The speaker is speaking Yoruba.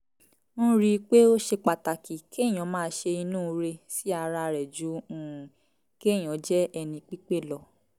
n rí i pé ó ṣe pàtàkì kéèyàn máa ṣe inúure sí ara rẹ̀ ju um kéèyàn jẹ́ ẹni pípé lọ